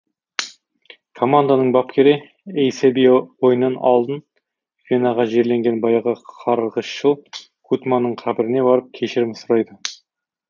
команданың бапкері эйсебио ойыннан алдын венаға жерленген баяғы қарғысшыл гутманның қабіріне барып кешірім сұрайды